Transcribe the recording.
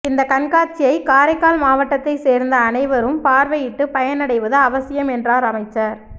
இந்த கண்காட்சியை காரைக்கால் மாவட்டத்தை சோ்ந்த அனைவரும் பாா்வையிட்டு பயனடைவது அவசியம் என்றாா் அமைச்சா்